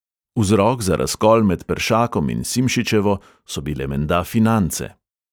Vzrok za razkol med peršakom in simšičevo so bile menda finance.